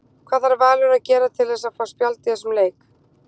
Hvað þarf Valur að gera til að fá spjald í þessum leik?